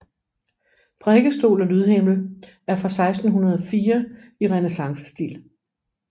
Prædikestol og lydhimmel er fra 1604 i renæssancestil